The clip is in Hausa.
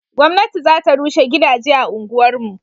gwamnati za ta rushe gidaje a unguwar mu